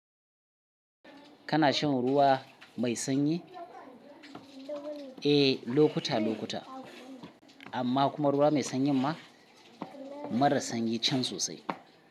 Kana shan ruwa mai sanyi? Eh, lokuta-lokuta amma kuma ruwa mai sanyin ma mara sanyi can sosai.